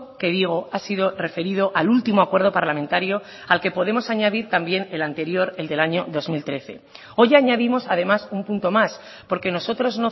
que digo ha sido referido al último acuerdo parlamentario al que podemos añadir también el anterior el del año dos mil trece hoy añadimos además un punto más porque nosotros